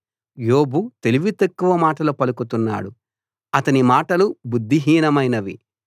యోబు తెలివితక్కువ మాటలు పలుకుతున్నాడు అతని మాటలు బుద్ధిహీనమైనవి